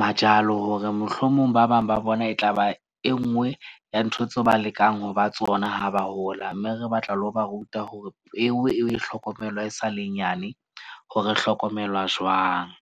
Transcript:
majalo, hore mohlomong ba bang ba bona e tlaba e nngwe ya ntho tseo ba lekang ho ba tsona ha ba hola. Mme re batla le ho ba ruta hore peo e hlokomelwa e sa le nyane hore hlokomelwa jwang.